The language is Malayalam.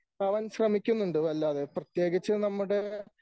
ആവാൻ ശ്രമിക്കുന്നുണ്ട് വല്ലാതെ. പ്രത്യേകിച്ച് നമ്മുടെ